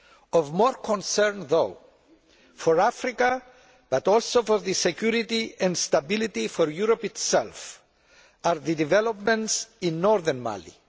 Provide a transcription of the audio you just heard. Of more concern though for Africa but also for the security and stability of Europe itself are the developments in Northern Mali.